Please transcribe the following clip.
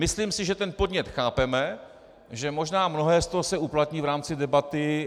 Myslím si, že ten podnět chápeme, že možná mnohé z toho se uplatní v rámci debaty.